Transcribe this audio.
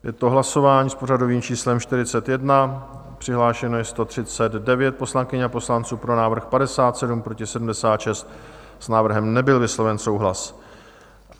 Je to hlasování s pořadovým číslem 41, přihlášeno je 139 poslankyň a poslanců, pro návrh 57, proti 76, s návrhem nebyl vysloven souhlas.